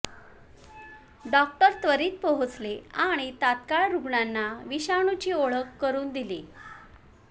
doctor त्वरीत पोहोचले आणि तत्काळ रुग्णांना विषाणूची ओळख करून दिली